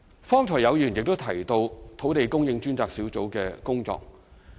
剛才亦有議員提到土地供應專責小組的工作。